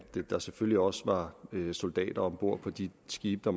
der selvfølgelig også var soldater om bord på de skibe der